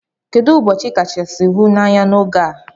Kedu ubochi ikachasi hu na anya na ogee?